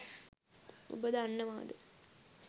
ඔබ දන්නවද